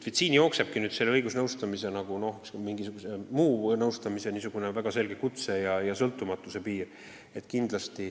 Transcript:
Siin aga jooksebki õigusnõustamise ja mingisuguse muu nõustamise väga selge kutsetöö ja sõltumatuse piir.